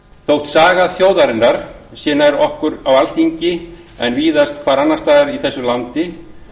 þótt saga þjóðarinnar sé nær okkur á alþingi en víðast hvar annars staðar í þessu landi